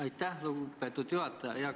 Aitäh, lugupeetud juhataja!